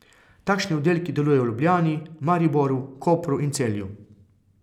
Takšni oddelki delujejo v Ljubljani, Mariboru, Kopru in Celju.